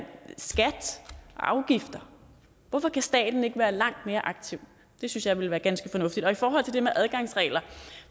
afgifter hvorfor kan staten ikke være langt mere aktiv det synes jeg ville være ganske fornuftigt og i forhold til det med adgangsregler